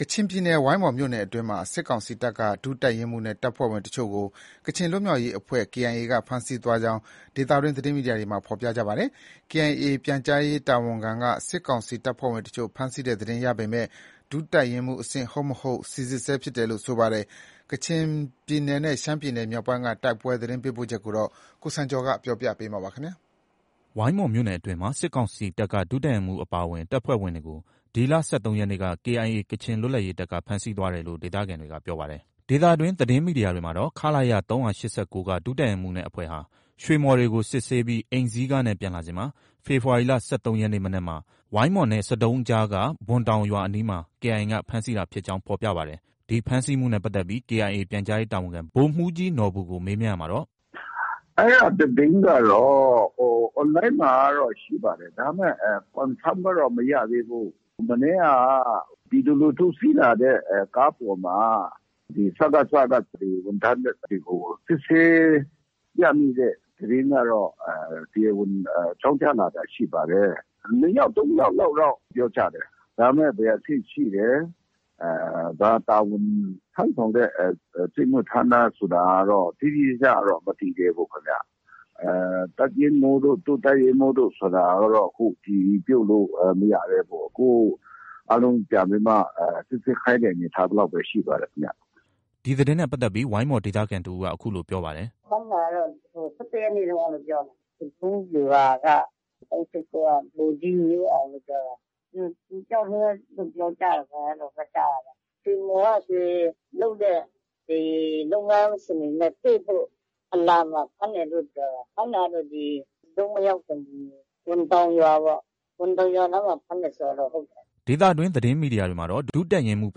ကချင်ပြည်နယ် ဝိုင်းမော်မြို့နယ်အတွင်းမှာ စစ်ကောင်စီတပ်က ဒုတပ်ရင်းမှုးနဲ့ တပ်ဖွဲ့ဝင်အချို့ကို ကချင်လွတ်မြောက်ရေးတပ်ဖွဲ့ KIA က ဖမ်းဆီးသွားကြောင်း ဒေသတွင်း သတင်းမီဒီယာတွေမှာ ဖော်ပြထားပါတယ်။ KIA ပြန်ကြားရေးတာဝန်ခံက စစ်ကောင်စီတပ်ဖွဲ့ဝင်အချို့ ဖမ်းဆီးတဲ့သတင်းရပေမယ့် ဒုတပ်ရင်းမှူးအဆင့်ဟုတ်မဟုတ်ကို စီစစ်ဆဲဖြစ်တယ်လို့ဆိုပါတယ်။ ကချင်ပြည်နယ်နဲ့ ရှမ်းပြည်မြောက်ပိုင်းက တိုက်ပွဲသတင်းပေးပို့ချက်ကိုတော့ ကိုစံကျော်က ပြောပြမှာပါ။ ဝိုင်းမော်မြို့နယ်အတွင်းမှာ စစ်ကောင်စီတပ်က ဒုတပ်ရင်းမှူးအပါအဝင် တပ်ဖွဲ့ဝင်တွေကို ဒီလ ၁၃ရက်နေ့က KIA ကချင်လွတ်လပ်ရေးတပ်က ဖမ်းဆီးသွားတယ်လို့ ဒေသခံတွေကပြောပါတယ်။ ဒေသတွင်း သတင်းမီဒီယာတွေမှာတော့ ခလရ ၃၈၉က ဒုတပ်ရင်းမှူးနဲ့အဖွဲ့ဟာ ရွှေမှော်တွေကို စစ်ဆေးပြီး အိမ်စီးကားနဲ့ ပြန်လာစဉ်မှာ ဖေဖော်ဝါရီလ ၁၃ရက်နေ့ မနက်မှာ ဝိုင်းမော်နဲ့ ဆဒုံးအကြားက ဘွမ်တောင်ရွာအနီးမှာ KIA က ဖမ်းဆီးတာဖြစ်ကြောင်း ဖော်ပြကြပါတယ်။ ဒီဖမ်းဆီးမှုနဲ့ပတ်သက်ပြီး KIA ပြန်ကြားရေးတာဝန်ခံ ဗိုလ်မှူးကြီးနော်ဘူကို မေးမြန်းရာမှာတော့ - အဲဒါ သတင်းကတော့ online မှာတော့ ရှိပါတယ်။ ဒါပေမဲ့ Confirm ကတော့ မရသေးဘူး။ မနေ့က ပြည်သူလူထု စီးလာတဲ့ ကားပေါ်မှာ စကစက ဝန်ထမ်းတွေကို စစ်ဆေး ရမိတဲ့သတင်းကတော့ တရားဝင် အကြောင်းကြားလာတာ ရှိပါတယ်။ နှစ်ယောက်၊ သုံးယောက်လောက်တော့ ပြောကြတယ်။ ဒါပေမဲ့ ဘယ်အဆင့်ရှိတယ်။ ဘာတာဝန်ထမ်းဆောင်တဲ့ စစ်မှုထမ်းလားဆိုတာကတော့ တိတိကျကျတော့ မသိသေးဘူးခင်ဗျ။ တပ်ရင်းမှုးတို့ ဒုတပ်ရင်းမှုးတို့ ဆိုတာကတော့ အတည်ပြုလို့ မရသေးဘူး။ အခု အားလုံးပြန်ပြီးမှ စိစစ်ခိုင်းတဲ့အနေအထားလောက်ပဲ ရှိပါတယ်။ ဒီသတင်းနဲ့ပတ်သက်ပြီး ဝိုင်းမော်ဒေသခံတစ်ဦးက အခုလို ပြောပါတယ်။ ဖမ်းတာကတော့ ၁၁ရက်နေ့တုံးကလို့ ပြောတယ်။ ဆဒုံးဗျူဟာက ၃၈၉က ဗိုလ်ကြီး မျိုးအောင်လို့ ပြောတာ။ သူတစ်ယောက်တည်းပဲလို့ ပြောကြတယ်။ အဲလိုပဲ ကြားတာပဲ။ ရွှေမှော်က ရွှေလုပ်တဲ့ လုပ်ငန်းရှင်တွေနဲ့တွေ့ဖို့ အလာမှာ ဖမ်းတယ်လို့ ပြောတာပဲ။ ဖမ်းတာက ဒီဆဒုံးမရောက်ခင် ဘွမ်တောင်ရွာနားမှာ ဖမ်းတယ်ဆိုတာတော့ ဟုတ်တယ်။ ဒေသတွင်းသတင်းမီဒီယာတွေမှာတော့ ဒုတပ်ရင်းမှူး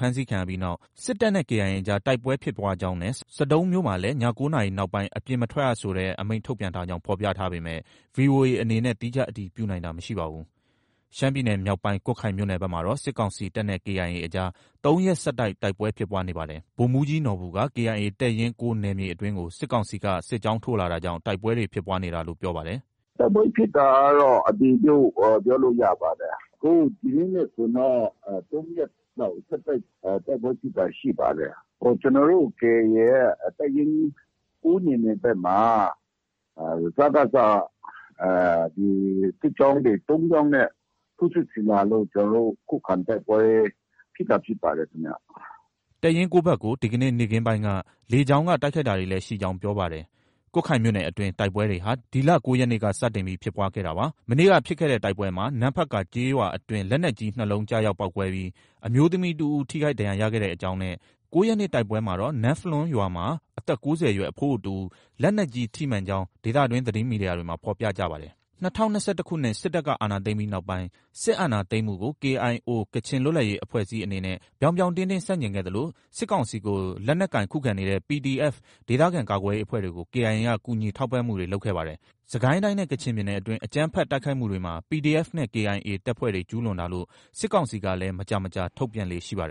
ဖမ်းဆီးခံရပြီးနောက် စစ်တပ်နဲ့ KIA အကြား တိုက်ပွဲဖြစ်ပွားကြောင်းနဲ့ ဆဒုံးမြို့မှာလည်း ည၉နာရီနောက်ပိုင်း အပြင်မထွက်ရတဲ့ ဆိုတဲ့ အမိန့်ထုတ်ပြန်ထားကြောင်း ဖော်ပြထားပေမယ့် ဗွီအိုအေအနေနဲ့ သီးခြား အတည်ပြုနိုင်တာ မရှိပါဘူး။ ရှမ်းပြည်နယ်မြောက်ပိုင်း ကွတ်ခိုင်မြို့နယ်ဘက်မှာတော့ စစ်ကောင်စီတပ်နဲ့ KIA အကြားမှာ ၃ရက်ဆက်တိုက် တိုက်ပွဲဖြစ်ပွားနေပါတယ်။ ဗိုလ်မှူးကြီးနော်ဘူက KIA တပ်ရင်း၉နယ်မြေအတွင်းကို စစ်ကောင်စီက စစ်ကြောင်းထိုးလာတာကြောင့် တိုက်ပွဲတွေဖြစ်ပွားနေတာလို့ ပြောပါတယ်။ တိုက်ပွဲဖြစ်တာကတော့ အတည်ပြု ပြောလို့ ရပါတယ်။ အခု ဒီနေ့နဲ့ဆိုရင်တော့ ၃ရက် ဆက်တိုက် တိုက်ပွဲဖြစ်တာ ရှိပါတယ်။ ကျနော်တို့ KIA ရဲ့ တပ်ရင်း ၉နယ်မြေဘက်မှာ စကစက စစ်ကြောင်းတွေ ၃ကြောင်းနဲ့ ထိုးစစ်ဆင်လာလို့ ကျနော်တို့ ခုခံတိုက်ပွဲ ဖြစ်တာဖြစ်ပါတယ်ခင်ဗျ။ တပ်ရင်း ၉ဘက်ကို ဒီကနေ့ နေ့ခင်းပိုင်းက လေကြောင်းက တိုက်ခိုက်တာတွေလည်းရှိကြောင်း ပြောပါတယ်။ ကွတ်ခိုင်မြို့နယ်အတွင်း တိုက်ပွဲတွေဟာ ဒီလ ၉ရက်နေ့က စတင်ပြီးဖြစ်ပွားခဲ့တာပါ။ မနေ့က ဖြစ်တဲ့တိုက်ပွဲမှာ နမ့်ဖတ်ကာကျေးရွာအတွင်း လက်နက်ကြီး ၂လုံးကျရောက်ပေါက်ကွဲပြီး အမျိုးသမီးတစ်ဦး ထိခိုက်ဒဏ်ရာရခဲ့ကြောင်းနဲ့ ၉ရက်နေ့ တိုက်ပွဲမှာတော့ နမ့်ဖလွန်းရွာမှာ အသက်၉၀အရွယ် အဖိုးအိုတစ်ဦး လက်နက်ကြီးထိမှန်ကြောင်း ဒေသတွင်း သတင်းမီဒီယာတွေမှာ ဖော်ပြကြပါတယ်။ ၂၀၂၁ စစ်တပ်က အာဏာသိမ်းပြီးနောက်ပိုင်း စစ်အာဏာသိမ်းမှုကို KIO ကချင်လွတ်လပ်ရေးအဖွဲ့အစည်းအနေနဲ့ ဗြောင်းဗြောင်းတင်းတင်းဆန့်ကျင်ခဲ့သလို စစ်ကောင်စီကို လက်နက်ကိုင်ခုခံကြတဲ့ PDF ဒေသကာကွယ်ရေးအဖွဲ့တွေကို KIA က ကူညီထောက်ပံ့မှုတွေလုပ်ခဲ့ပါတယ်။ စစ်ကိုင်းတိုင်းနဲ့ ကချင်ပြည်နယ်တွင်း အကြမ်းဖက်တိုက်ခိုက်မှုတွေမှာ PDF နဲ့ KIA တပ်ဖွဲ့တွေ ကျူးလွန်တာလို့ စစ်ကောင်စီကလည်း မကြာမကြာ ထုတ်ပြန်လေ့ရှိပါတယ်